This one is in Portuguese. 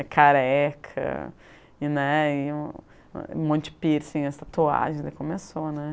É careca, e, né, e um monte de piercing, as tatuagens, aí começou, né?